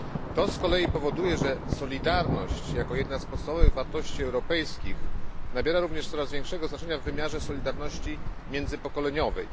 To z kolei powoduje, że solidarność jako jedna z podstawowych wartości europejskich nabiera również coraz większego znaczenia w wymiarze solidarności międzypokoleniowej.